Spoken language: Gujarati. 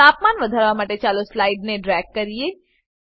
તાપમાન વધારવા માટે ચાલો સ્લાઈડરને ડ્રેગ કરીએ